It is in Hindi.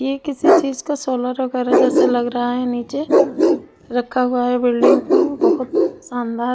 ये किसी चीज का सोलर लगा रहे है जैसे लग रहा है निचे रखा हुआ है बिल्डिंग को बहुत शानदार--